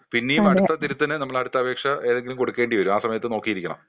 പിന്നേം അടുത്ത തിരുത്തിന് നമ്മൾ അടുത്ത അപേക്ഷ ഏതെങ്കിലും കൊടുക്കേണ്ടി വരും.ആ സമയത്ത് നോക്കി ഇരിക്കണം.